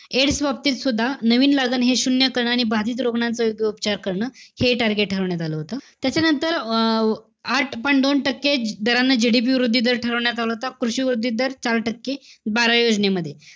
AIDS बाबतीत सुद्धा नवीन लागण हे शून्य कणांनी बाधित रुग्णाचा तो उपचार करणं. हे target ठरवण्यात आलं होतं. त्याच्यानंतर, अं आठ point दोन टक्के दरांनी GDP वृद्धी दर ठरवण्यात आला होता. कृषी वृद्धी दर चार टक्के, बाराव्या योजनेमध्ये.